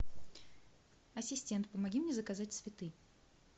ассистент помоги мне заказать цветы